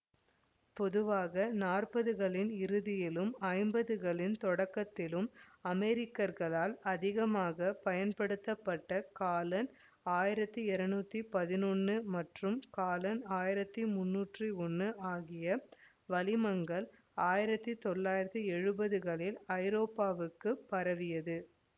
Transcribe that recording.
பொதுவாக நாற்பதுகளின் இறுதியிலும் ஐம்பதுகளின் தொடக்கத்திலும் அமெரிக்கர்களால் அதிகமாக பயன்படுத்தப்பட்ட காலன் ஆயிரத்தி இருநூற்றி பதினொன்னு மற்றும் காலன் ஆயிரத்தி முன்னூற்றி ஒன்னு ஆகிய வளிமங்கள் ஆயிரத்தி தொள்ளாயிரத்தி எழுவதுகளில் ஐரோப்பாவுக்கும் பரவியது